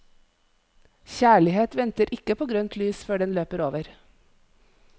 Kjærlighet venter ikke på grønt lys før den løper over.